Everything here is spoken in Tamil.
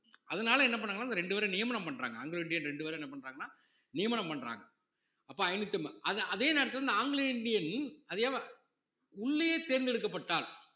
அதனால என்ன பண்ணாங்கன்னா இப்ப ரெண்டு பேரை நியமனம் பண்றாங்க ஆங்கிலோ இந்தியன் ரெண்டு பேரும் என்ன பண்றாங்கன்னா நியமனம் பண்றாங்க அப்ப ஐந்நூத்தி அம்ப~ அது அதே நேரத்தில இந்த ஆங்கிலோ இந்தியன் உள்ளயே தேர்ந்தெடுக்கப்பட்டாள்